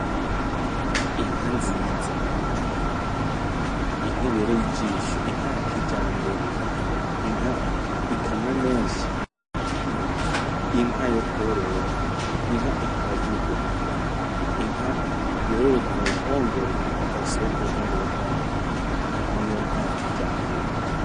Inka nziza, inka ibereye ijisho, inka ya kijambere, inka ikamwa menshi, inka yokorora, inka itaragirwa, inka yororerwa mu ruhongore idasohoka uruhongore rwayo niyo nka ya kijambere.